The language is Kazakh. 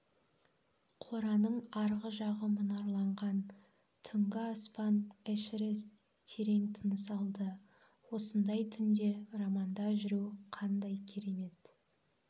қораның арғы жағы мұнарланған түнгі аспан эшерест терең тыныс алды осындай түнде романда жүру қандай керемет